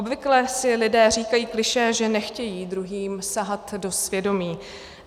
Obvykle si lidé říkají klišé, že nechtějí druhým sahat do svědomí.